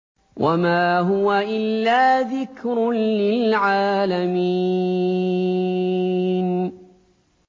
وَمَا هُوَ إِلَّا ذِكْرٌ لِّلْعَالَمِينَ